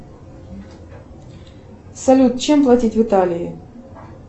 салют чем платить в италии